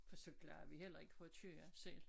For så klarer vi heller ikke at køre selv